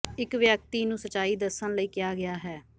ਇਕ ਵਿਅਕਤੀ ਨੂੰ ਸੱਚਾਈ ਦੱਸਣ ਲਈ ਕਿਹਾ ਗਿਆ ਹੈ